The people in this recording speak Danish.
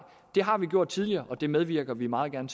det har vi gjort tidligere og det medvirker vi meget gerne